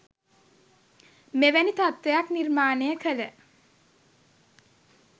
මෙවැනි තත්ත්වයක් නිර්මාණය කළ